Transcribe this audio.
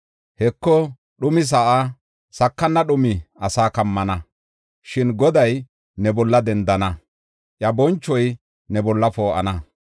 Heko, dhumi sa7aa, sakana dhumi asaa kammana; shin Goday ne bolla dendana; iya bonchoy ne bolla poo7ana.